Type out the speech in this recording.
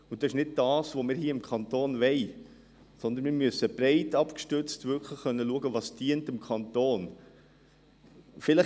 Das ist nicht, was wir hier im Kanton wollen, sondern wir müssen wirklich breit abgestützt schauen können, was dem Kanton dient.